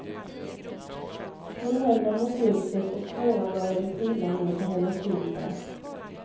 Hon höll dem mot ljuset och tårar började trilla nedför hennes kinder.